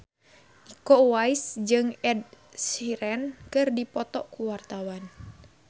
Iko Uwais jeung Ed Sheeran keur dipoto ku wartawan